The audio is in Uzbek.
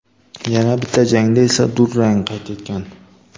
Yana bitta jangda esa durang qayd etgan.